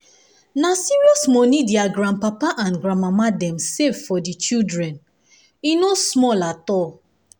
na serious money their grandpapa and grandmama dem save for the children e no small at all